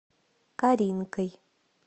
каринкой